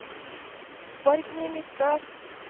Borgny Midtbø